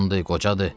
Cavandır, qocadır?